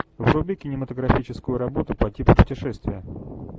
вруби кинематографическую работу по типу путешествия